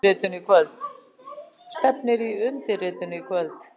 Stefnir í undirritun í kvöld